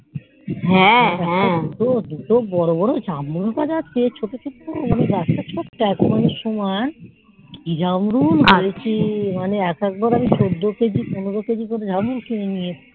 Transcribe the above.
দুটো বোরো বোরো জামরুল গাছ আছে মানে ছোট পুকুর বাছা তো সময় কি জামরুল হয়েছে মানে একেকবার আমি চোদ্দ কেজি পনেরই কেজি করে জামরুল নিয়ে এসেছি